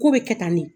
Ko bɛ kɛ tan ne